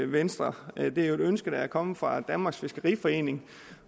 venstre det er jo et ønske der er kommet fra danmarks fiskeriforening